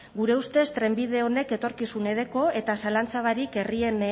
gure ustez trenbide honek etorkizune deko eta zalantza barik herrien